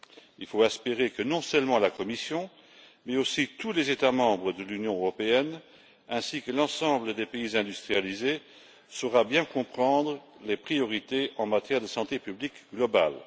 Il faut espérer que non seulement la Commission, mais aussi tous les États membres de l'Union européenne ainsi que l'ensemble des pays industrialisés, comprendront bien les priorités en matière de santé publique mondiale.